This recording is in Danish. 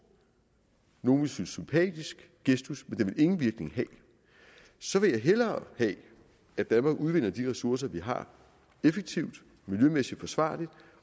nogle ville synes sympatisk gestus men den ingen virkning have så vil jeg hellere have at danmark udvinder de ressourcer vi har effektivt og miljømæssigt forsvarligt